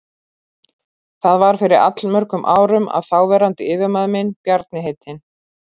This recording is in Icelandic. Það var fyrir allmörgum árum að þáverandi yfirmaður minn, Bjarni heitinn